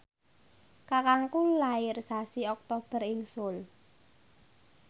kakangku lair sasi Oktober ing Seoul